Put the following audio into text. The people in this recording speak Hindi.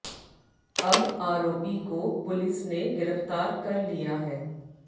अब आरोपी को पुलिस ने गिरफ्तार कर लिया है